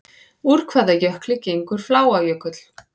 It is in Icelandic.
Úr hvaða jökli gengur Fláajökull?